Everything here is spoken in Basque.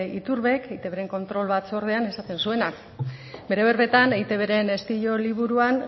iturbek eitbren kontrol batzordean esaten zuena bere berbetan eitbren estilo liburuan